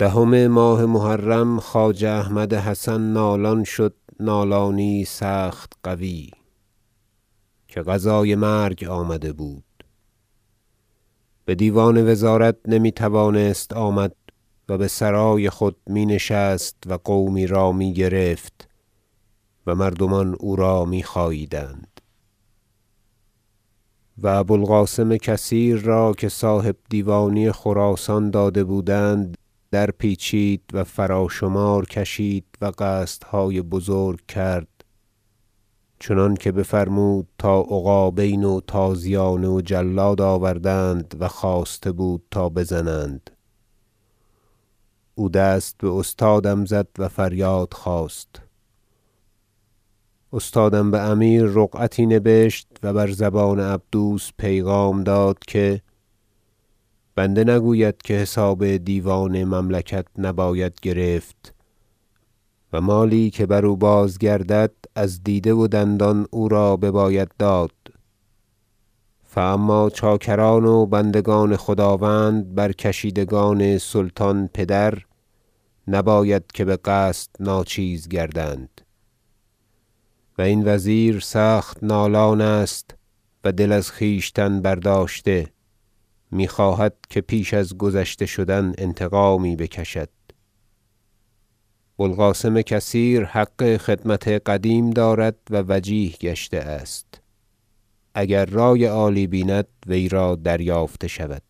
دهم ماه محرم خواجه احمد حسن نالان شد نالانی یی سخت قوی که قضای مرگ آمده بود بدیوان وزارت نمیتوانست آمد و بسرای خود می نشست و قومی را میگرفت و مردمان او را میخاییدند و ابو القاسم کثیر را که صاحبدیوانی خراسان داده بودند درپیچید و فراشمار کشید و قصدهای بزرگ کرد چنانکه بفرمود تا عقابین و تازیانه و جلاد آوردند و خواسته بود تا بزنند او دست باستادم زد و فریاد خواست استادم بامیر رقعتی نبشت و بر زبان عبدوس پیغام داد که بنده نگوید که حساب دیوان مملکت نباید گرفت و مالی که بر او بازگردد از دیده و دندان او را بباید داد فاما چاکران و بندگان خداوند بر کشیدگان سلطان پدر نباید که بقصد ناچیز گردند و این وزیر سخت نالان است و دل از خویشتن برداشته میخواهد که پیش از گذشته شدن انتقامی بکشد بوالقاسم کثیر حق خدمت قدیم دارد و وجیه گشته است اگر رأی عالی بیند وی را دریافته شود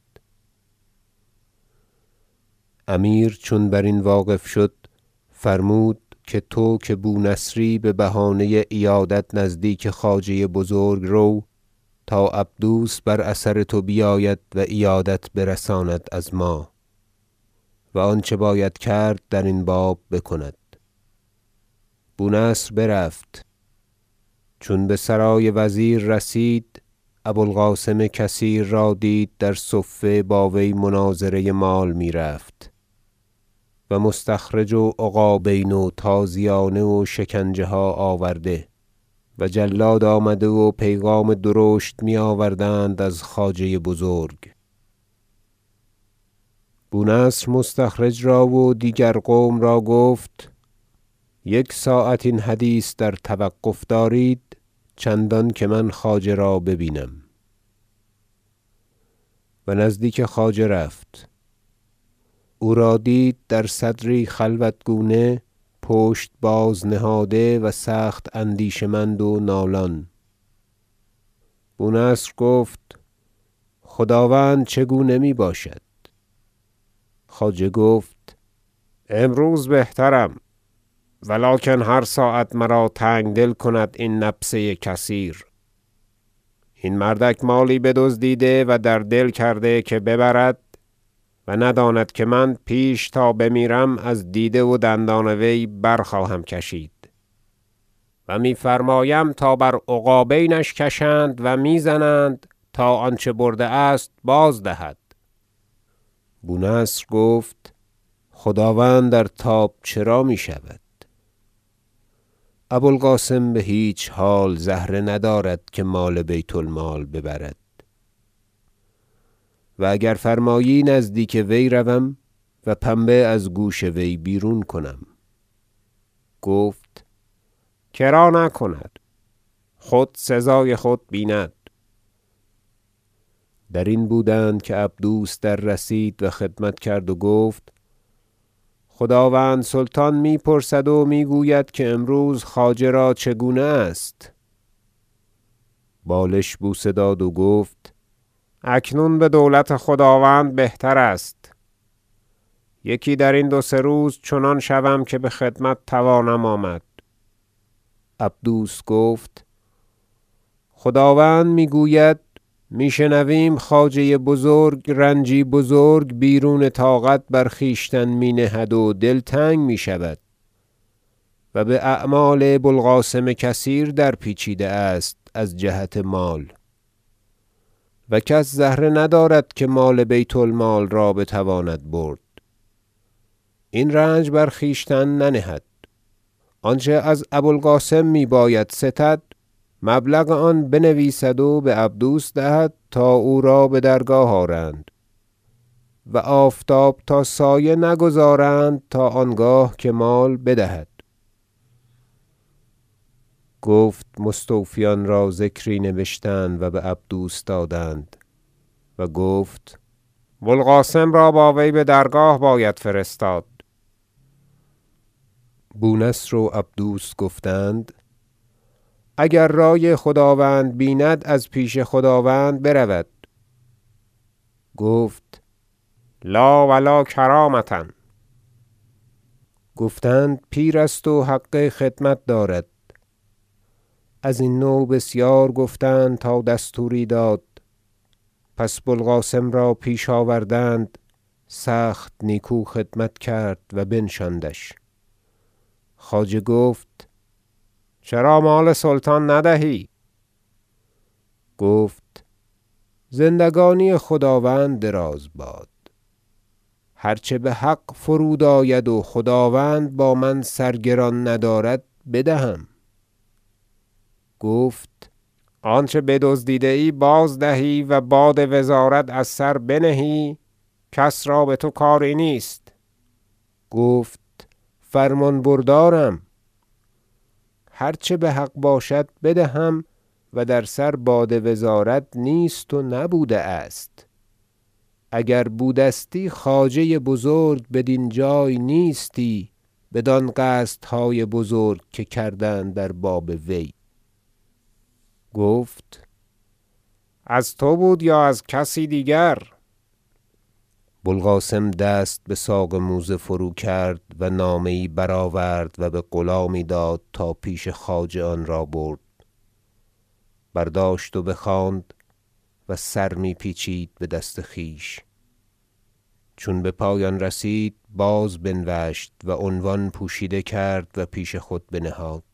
امیر چون بر این واقف شد فرمود که تو که بونصری ببهانه عیادت نزدیک خواجه بزرگ رو تا عبدوس بر اثر تو بیاید و عیادت برساند از ما و آنچه باید کرد درین باب بکند بونصر برفت چون بسرای وزیر رسید ابو القاسم کثیر را دید در صفه با وی مناظره مال میرفت و مستخرج و عقابین و تازیانه و شکنجه ها آورده و جلاد آمده و پیغام درشت میآوردند از خواجه بزرگ بونصر مستخرج را و دیگر قوم را گفت یک ساعت این حدیث در توقف دارید چندانکه من خواجه را ببینم و نزدیک خواجه رفت او را دید در صدری خلوت گونه پشت باز نهاده و سخت اندیشه مند و نالان بونصر گفت خداوند چگونه میباشد خواجه گفت امروز بهترم ولکن هر ساعت مرا تنگدل کند این نبسه کثیر این مردک مالی بدزدیده و در دل کرده که ببرد و نداند که من پیش تا بمیرم از دیده و دندان وی برخواهم کشید و میفرمایم که تا بر عقابینش کشند و میزنند تا آنچه برده است بازدهد بونصر گفت خداوند در تاب چرا میشود ابو القاسم بهیچ حال زهره ندارد که مال بیت المال ببرد و اگر فرمایی نزدیک وی روم و پنبه از گوش وی بیرون کنم گفت کرا نکند خود سزای خود بیند درین بودند که عبدوس دررسید و خدمت کرد و گفت خداوند سلطان میپرسد و میگوید که امروز خواجه را چگونه است بالش بوسه داد و گفت اکنون بدولت خداوند بهتر است یکی درین دو سه روز چنان شوم که بخدمت توانم آمد عبدوس گفت خداوند میگوید میشنویم خواجه بزرگ رنجی بزرگ بیرون طاقت بر خویش می نهد و دلتنگ میشود و باعمال بوالقاسم کثیر درپیچیده است از جهت مال و کس زهره ندارد که مال بیت المال را بتواند برد این رنج بر خویشتن ننهد آنچه از ابو القاسم میباید ستد مبلغ آن بنویسد و بعبدوس دهد تا او را بدرگاه آرند و آفتاب تا سایه نگذارند تا آنگاه که مال بدهد گفت مستوفیان را ذکری نبشتند و بعبدوس دادند و گفت بوالقاسم را با وی بدرگاه باید فرستاد بونصر و عبدوس گفتند اگر رأی خداوند بیند از پیش خداوند برود گفت لاو لاکرامة گفتند پیر است و حق خدمت دارد ازین نوع بسیار گفتند تا دستوری داد پس بوالقاسم را پیش آوردند سخت نیکو خدمت کرد و بنشاندش خواجه گفت چرا مال سلطان ندهی گفت زندگانی خداوند دراز باد هر چه بحق فرود آید و خداوند با من سرگران ندارد بدهم گفت آنچه بدزدیده ای باز دهی و باد وزارت از سر بنهی کس را بتو کاری نیست گفت فرمانبردارم هر چه بحق باشد بدهم و در سر باد وزارت نیست و نبوده است اگر بودستی خواجه بزرگ بدین جای نیستی بدان قصدهای بزرگ که کردند در باب وی گفت از تو بود یا از کسی دیگر بوالقاسم دست بساق موزه فرو کرد و نامه یی برآورد و بغلامی داد تا پیش خواجه آنرا برد برداشت و بخواند و سر می پیچید بدست خویش چون بپایان رسید باز بنوشت و عنوان پوشیده کرد و پیش خود بنهاد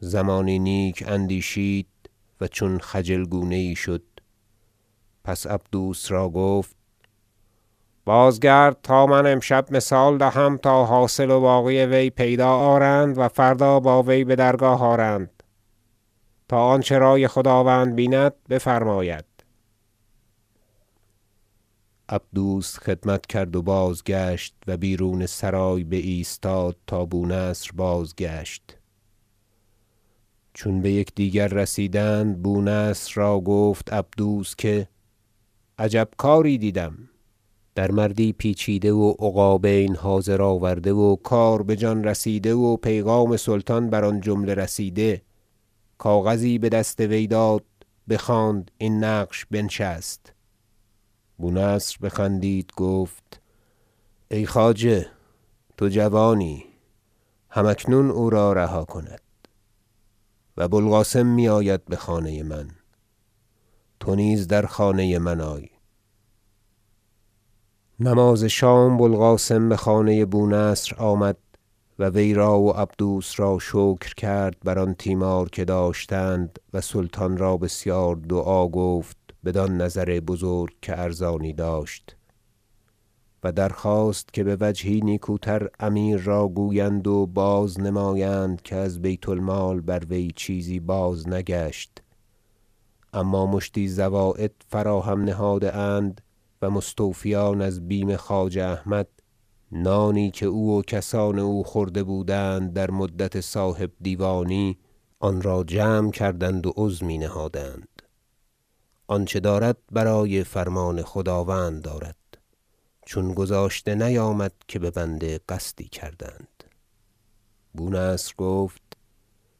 زمانی نیک اندیشید و چون خجل گونه یی شد پس عبدوس را گفت بازگرد تا من امشب مثال دهم تا حاصل و باقی وی پیدا آرند و فردا با وی بدرگاه آرند تا آنچه رأی خداوند بیند بفرماید عبدوس خدمت کرد و بازگشت و بیرون سرای بایستاد تا بونصر بازگشت چون بیکدیگر رسیدند بونصر را گفت عبدوس عجب کاری دیدم در مردی پیچیده و عقابین حاضر آورده و کار بجان رسیده و پیغام سلطان بر آن جمله رسیده کاغذی بدست وی داد بخواند این نقش بنشست بونصر بخندید گفت ای خواجه تو جوانی هم اکنون او را رها کند و بوالقاسم میآید بخانه من تو نیز در خانه من آی نماز شام بوالقاسم بخانه بونصر آمد و وی را و عبدوس را شکر کرد بر آن تیمار که داشتند و سلطان را بسیار دعا گفت بدان نظر بزرگ که ارزانی داشت و درخواست که بوجهی نیکوتر امیر را گویند و بازنمایند که از بیت المال بر وی چیزی بازنگشت اما مشتی زواید فراهم نهاده اند و مستوفیان از بیم خواجه احمد نانی که او و کسان او خورده بودند در مدت صاحبدیوانی و مشاهره یی که استده اند آنرا جمع کردند و عظمی نهادند آنچه دارد برای فرمان خداوند دارد چون گذاشته نیامد که به بنده قصدی کردند بونصر گفت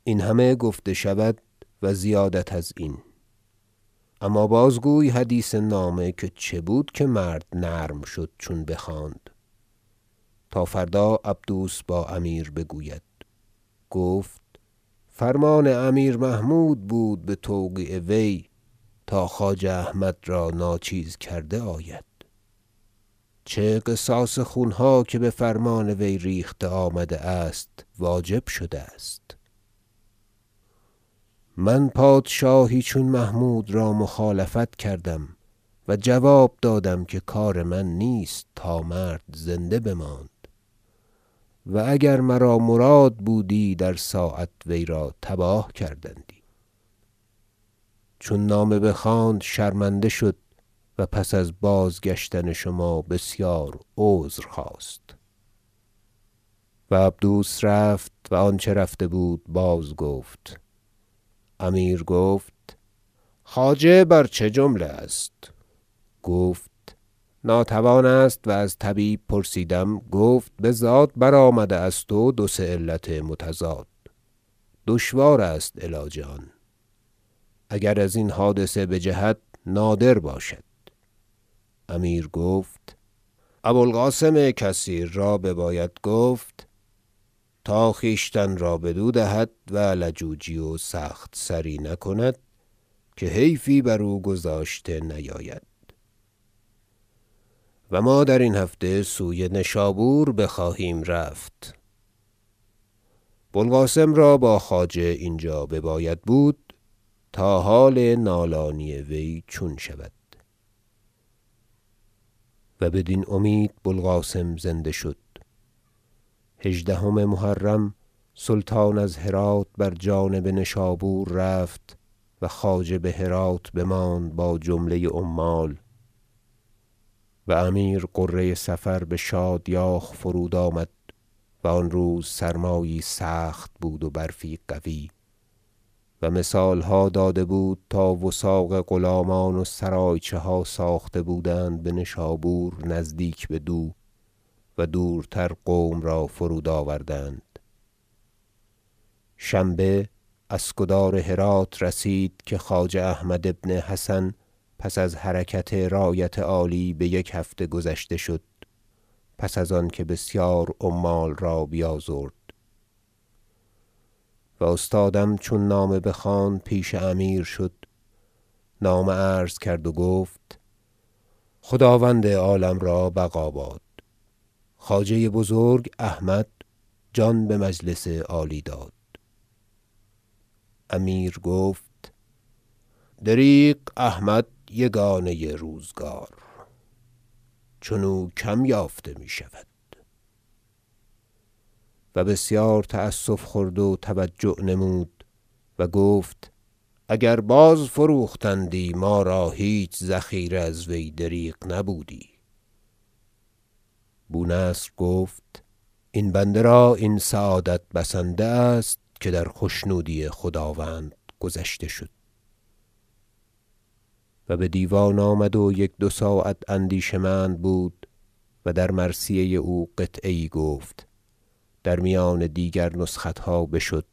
این همه گفته شود و زیادت ازین اما بازگوی حدیث نامه که چه بود که مرد نرم شد چون بخواند تا فردا عبدوس با امیر بگوید گفت فرمان امیر محمود بود بتوقیع وی تا خواجه احمد را ناچیز کرده آید چه قصاص خونها که بفرمان وی ریخته آمده است واجب شده است من پادشاهی چون محمود را مخالفت کردم و جواب دادم که کار من نیست تا مرد زنده بماند و اگر مرا مراد بودی در ساعت وی را تباه کردندی چون نامه بخواند شرمنده شد و پس از بازگشتن شما بسیار عذرخواست و عبدوس رفت و آنچه رفته بود بازگفت امیر گفت خواجه بر چه جمله است گفت ناتوان است و از طبیب پرسیدم گفت بزاد برآمده است و دو سه علت متضاد دشوار است علاج آن اگر ازین حادثه بجهد نادر باشد امیر گفت ابو القاسم کثیر را بباید گفت تا خویشتن را بدو دهد و لجوجی و سخت سری نکند که حیفی بر او گذاشته نیاید و ما درین هفته سوی نشابور بخواهیم رفت بو القاسم را با خواجه اینجا بباید بود تا حال نالانی وی چون شود و بدین امید بوالقاسم زنده شد هژدهم محرم سلطان از هرات بر جانب نشابور رفت و خواجه بهرات بماند با جمله عمال و امیر غره صفر بشادیاخ فرود آمد و آن روز سرمایی سخت بود و برفی قوی و مثالها داده بود تا وثاق غلامان و سرایچه ها ساخته بودند بنشابور نزدیک بدو و دورتر قوم را فرود آوردند شنبه اسکدار هرات رسید که خواجه احمد بن حسن پس از حرکت رایت عالی بیک هفته گذشته شد پس از آنکه بسیار عمال را بیازرد و استادم چون نامه بخواند پیش امیر شد و نامه عرضه کرد گفت خداوند عالم را بقاباد خواجه بزرگ احمد جان بمجلس عالی داد امیر گفت دریغ احمد یگانه روزگار چنو کم یافته میشود و بسیار تأسف خورد و توجع نمود و گفت اگر باز فروختندی ما را هیچ ذخیره از وی دریغ نبودی بونصر گفت این بنده را این سعادت بسنده است که در خشنودی خداوند گذشته شد و بدیوان آمد و یک دو ساعت اندیشه مند بود و در مرثیه او قطعه یی گفت در میان دیگر نسختها بشد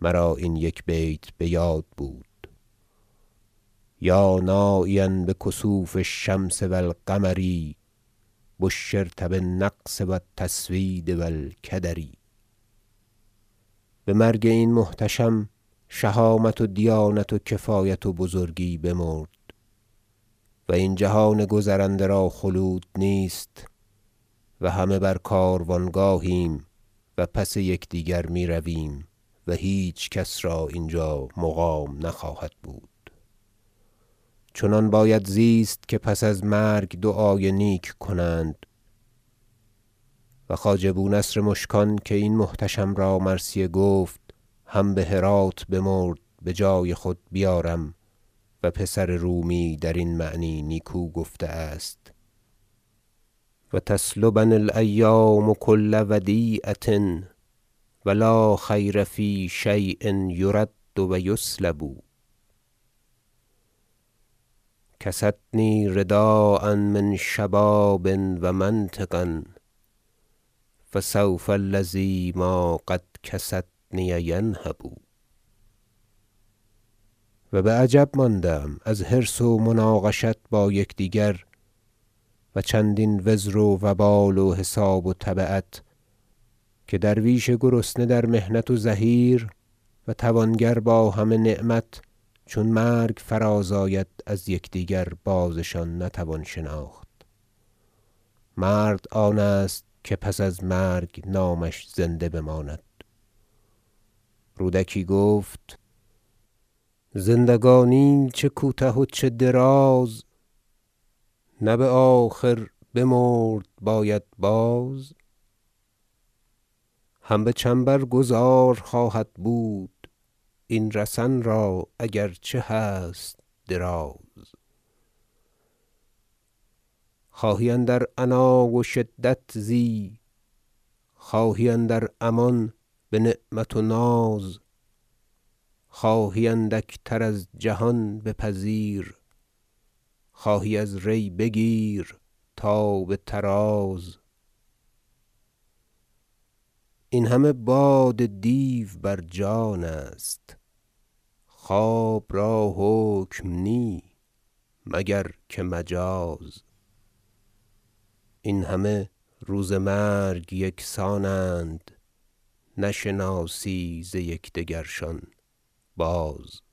مرا این یک بیت بیاد بود شعر یا ناعیا بکسوف الشمس و القمر بشرت بالنقص و التسوید و الکدر بمرگ این محتشم شهامت و دیانت و کفایت و بزرگی بمرد و این جهان گذرنده را خلود نیست و همه بر کاروانگاهیم و پس یکدیگر میرویم و هیچکس را اینجا مقام نخواهد بود چنان باید زیست که پس از مرگ دعای نیک کنند و خواجه بونصر مشکان که این محتشم را مرثیه گفت هم بهرات بمرد بجای خود بیارم و پسر رومی درین معنی نیکو گفته است شعر و تسلبنی الایام کل ودیعة و لا خیر فی شی ء یرد و یسلب کستنی رداء من شباب و منطقا فسوف الذی قدما کستنیه ینهب و بعجب بمانده ام از حرص و مناقشت با یکدیگر و چندین وزر و وبال و حساب و تبعت که درویش گرسنه در محنت و زحیر و توانگر با همه نعمت چون مرگ فراز آید از یکدیگر بازشان نتوان شناخت مرد آن است که پس از مرگ نامش زنده بماند رودکی گفت قطعه زندگانی چه کوته و چه دراز نه بآخر بمرد باید باز هم بچنبر گذار خواهد بود این رسن را اگر چه هست دراز خواهی اندر عنا و شدت زی خواهی اندر امان بنعمت و ناز خواهی اندک تر از جهان بپذیر خواهی از ری بگیر تا بطراز این همه باد دیو بر جان است خواب را حکم نی مگر که مجاز این همه روز مرگ یکسانند نشناسی ز یکدیگرشان باز